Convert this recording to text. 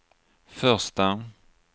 första